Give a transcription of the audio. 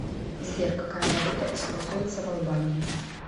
сбер какая валюта используется в албании